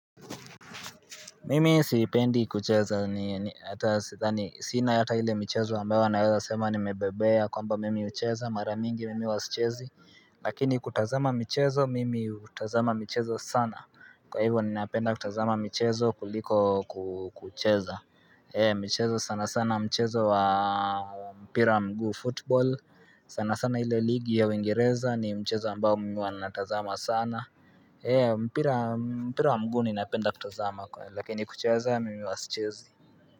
Mimi sipendi kucheza ni hata sidhani sina hata ile michezo ambayo wanaweza sema kwamba nmebobea kwamba mimi hucheza mara mingi mimi wasichezi Lakini kutazama michezo mimi hutazama michezo sana Kwa hivyo ni napenda kutazama michezo kuliko kucheza michezo sana sana mchezo wa mpira wa mguu football sana sana ile ligi ya uingireza ni mchezo ambao mimi huwa natazama sana mpira mpira wa mguni napenda kutazama kwenye Lakini kucheza mimi huwa sichezi.